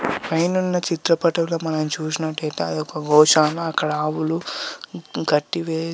పైనున్న చిత్రపటంలో చూసినట్లయితే అదొక గోశాల. అక్కడ ఆవులు గడ్డి వే--